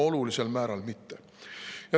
No olulisel määral mitte.